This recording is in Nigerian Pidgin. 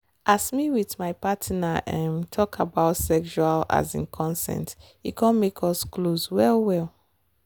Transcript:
as me with my partner um talk about sexual um consent e come make us close well well.